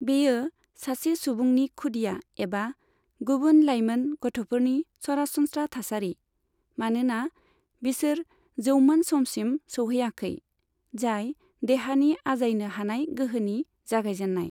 बेयो सासे सुबुंनि खुदिआ एबा गुबुन लाइमोन गथ'फोरनि सरासनस्रा थासारि, मानोना बिसोर जौमोन समसिम सौहैयाखै, जाय देहानि आजायनो हानाय गोहोनि जागायजेन्नाय।